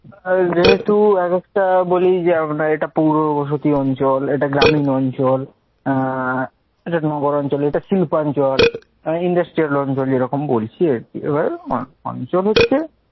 আর যেহেতু আরেকটা বলি, যে আমরা এটা পুড় বসতি অঞ্চল, এটা গ্রামীণ অঞ্চল, আহ এটা নগরাঞ্চল, এটা শিল্প অঞ্চল, industrial অঞ্চল এরকম বলছি আর কি এভাবে মা, অঞ্চল হচ্ছে